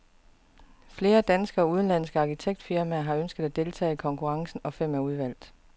Flere danske og udenlandske arkitektfirmaer har ønsket at deltage i konkurrencen, og fem er udvalgt.